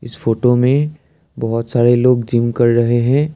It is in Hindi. इस फोटो में बहुत सारे लोग जिम कर रहे हैं।